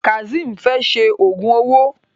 Kazeem fè ṣe ògún owó.